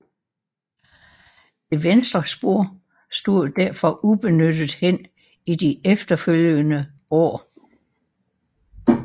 Det venstre spor stod derfor ubenyttet hen i de efterfølgende år